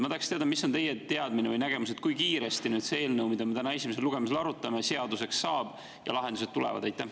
Ma tahaks teada, mis on teie teadmine või nägemus, kui kiiresti see eelnõu, mida me täna esimesel lugemisel arutame, seaduseks saab ja lahendused tulevad.